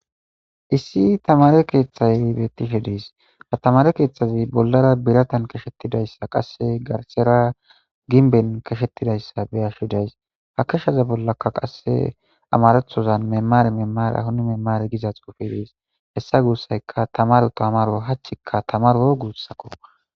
Issi tamare keeththay bettishe diis ha tamare keeththazi bollara biratan keshettidayssa qasse garsera ginben keshettidayssa beyashodays ha keshshaza bollaka qasse amarethozan memare memara huni memare giza xuufidis hessa guussayka tamaru to amaro hachikka tamaro guussakko.